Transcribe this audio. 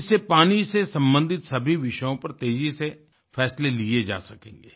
इससे पानी से संबंधित सभी विषयों पर तेज़ी से फैसले लिए जा सकेंगे